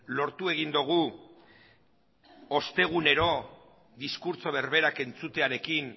lortu egin dugu ostegunero diskurtso berberak entzutearekin